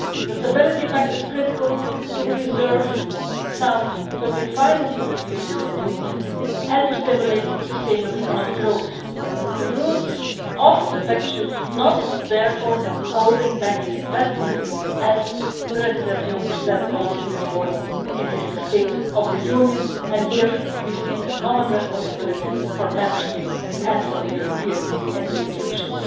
The stability pact is critical to preserve sound public finances in the European Union and to stimulate sustainable economic growth. The rules of the pact should not therefore be holding back investments, as President Junker also said this morning in his State of the Union', and here we see a common responsibility for Member States and for the European institutions.